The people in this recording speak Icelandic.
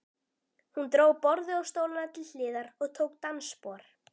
Hún dró borðið og stólana til hliðar og tók dansspor.